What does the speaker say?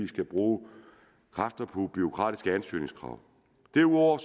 skal bruge kræfter på bureaukratiske ansøgningskrav derudover